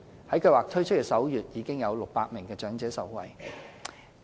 在計劃推出首月，已約有600名長者受惠。